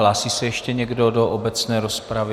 Hlásí se ještě někdo do obecné rozpravy?